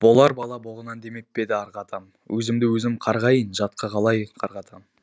болар бала боғынан демеп пе еді арғы атам өзімді өзім қарғайын жатқа қалай қарғатам